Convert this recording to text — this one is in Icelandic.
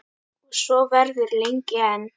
Og svo verður lengi enn.